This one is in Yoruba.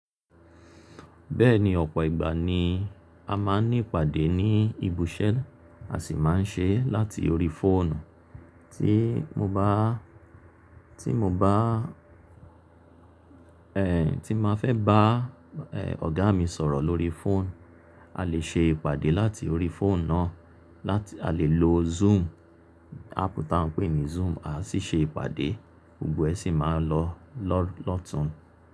Bẹ́ẹ̀ni ọ̀pọ̀ ìgbà ni a máa ń ní ìpàdé ní ibi iṣẹ́ a sì máa ń ṣe láti orí fóònù. Tí mo bá, tí mo bá, ẹ́ tí n máa fẹ́ bá ẹ̀ ọ̀gá mi sọ̀rọ̀ lórí fóònù, a lè ṣe ìpàdé láti orí fóònù náà láti a lè lo Zoom, áàpù ta ń pè ní Zoom a sì ṣe ìpàdé, gbogbo ẹ sì máa lọ lọ́ọ̀tun.